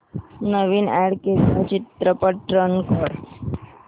नवीन add केलेला चित्रपट run कर